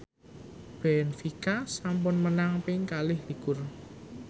benfica sampun menang ping kalih likur